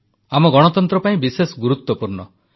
ଆମ ଗଣତନ୍ତ୍ର ପାଇଁ ବିଶେଷ ଗୁରୁତ୍ୱପୂର୍ଣ୍ଣ